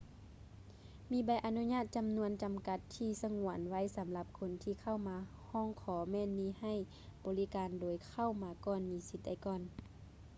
ມີໃບອະນຸຍາດຈຳນວນຈຳກັດທີ່ສະຫງວນໄວ້ສຳລັບຄົນທີ່ເຂົ້າມາຮ້ອງຂໍແມ່ນມີໃຫ້ບໍລິການໂດຍເຂົ້າມາກ່ອນມີສິດໄດ້ກ່ອນ